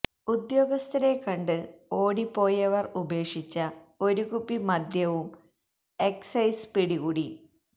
ഉദ്യോഗസ്ഥരെ കണ്ട് ഓടി പോയവർ ഉപേക്ഷിച്ച ഒരു കുപ്പി മദ്യവും എക്സൈസ് പിടികൂടി